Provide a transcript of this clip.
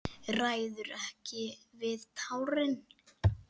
Ræður ekki við tárin.